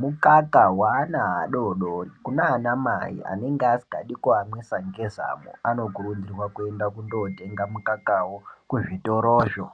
mukaka weana adoodori kunanamai anenge asingade kuamwisa ngezamo anokurudzirwa kuenda kunotenga mukakawo muzvitorozvo.